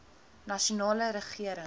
nasionale regering